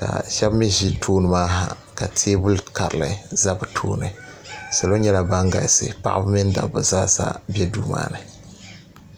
ka sheba mee ʒi tooni maa ha teebuli kaliri za bɛ tooni salo nyɛla ban galisi paɣaba mini dabba zaasa ka be duu maani.